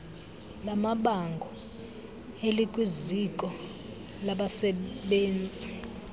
lamabango elikwiziko labasebenzii